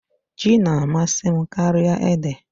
Ji na-amasị m karịa ede.